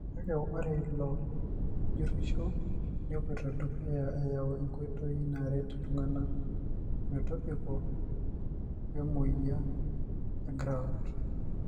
kake ore ilo jurisho nepoito dukuya ayau inkoitoi naret iltungana metobiko wemoyia egrout